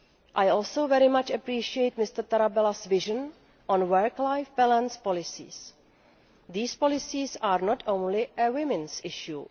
I also very much appreciate Mr Tarabella's vision on work life balance policies. These policies are not only a women's issue.